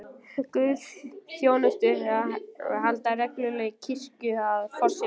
Guðsþjónustur eru haldnar reglulega í kirkjunni, að forseta